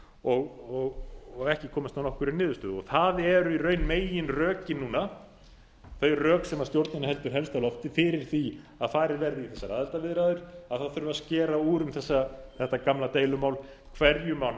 og ekki komist að nokkurri niðurstöðu það eru í raun meginrökin núna þau rök sem stjórnin heldur helst á lofti fyrir því að farið verði í þessar aðildarviðræður að það þurfi að skera úr um þetta gamla deilumál hverju má ná